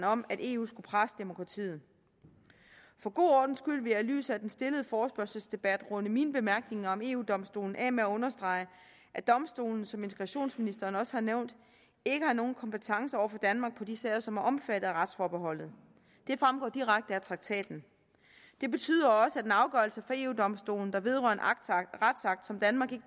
om at eu skulle presse demokratiet for god ordens skyld vil jeg i lyset af den stillede forespørgselsdebat runde mine bemærkninger om eu domstolen af med at understrege at domstolen som integrationsministeren også har nævnt ikke har nogen kompetence over for danmark i de sager som er omfattet af retsforbeholdet det fremgår direkte af traktaten det betyder også at en afgørelse fra eu domstolen der vedrører en retsakt som danmark